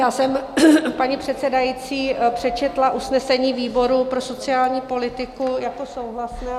Já jsem, paní předsedající, přečetla usnesení výboru pro sociální politiku jako souhlasné.